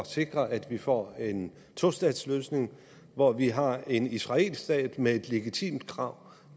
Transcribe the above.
sikre at vi får en tostatsløsning hvor vi har en israelsk stat med et legitimt krav